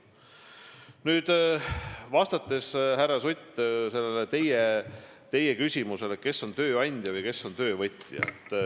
Nüüd vastan, härra Sutt, teie küsimusele, kes on tööandja ja kes on töövõtja.